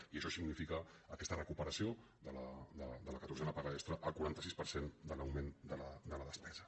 i això significa aquesta recuperació de la catorzena paga extra el quaranta sis per cent de l’augment de la despesa